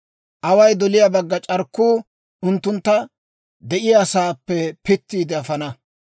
Away doliyaa bagga c'arkkuu unttuntta de'iyaasaappe pittiide afana.